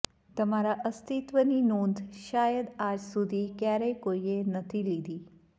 તમારા અસ્તિત્વની નોંધ શાયદ આજ સુધી ક્યારેય કોઈએ નથી લીધી